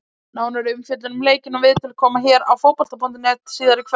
Nánari umfjöllun um leikinn og viðtöl koma hér á Fótbolta.net síðar í kvöld.